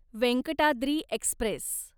Venkatadri Express